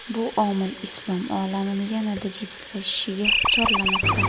Bu omil islom olamini yanada jipslashishga chorlamoqda.